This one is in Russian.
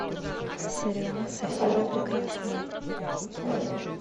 сериал софия прекрасная